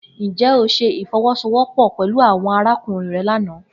Njẹ o ṣe ifowosowopo pẹlu awọn arakunrin rẹ lana?